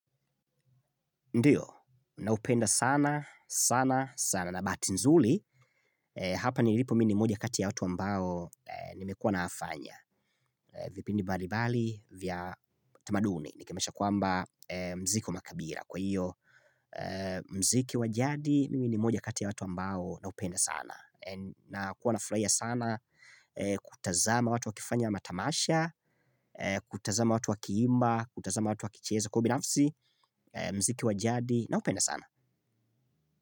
Ndiyo, naupenda sana, sana, sana. Na bahati, hapa nilipo mimi ni mmoja kati ya watu ambao nimekuwa nikifanya. Vipindi mbalimbali, vya tamaduni. Nikemesha kwamba muziki wa makabila. Kwa hiyo, muziki wa jadi, mimi ni mmoja kati ya watu ambao wanaupenda sana. Nakuwa nafurahia sana kutazama watu wakifanya matamasha, kutazama watu wakiimba, kutazama watu wakicheza, kwa ubinafsi, muziki wa jadi, naupenda sana.